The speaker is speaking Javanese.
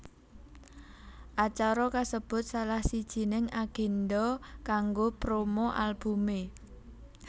Acara kasebut salah sijining agendha kanggo promo albumé